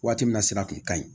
Waati min na sira kun ka ɲi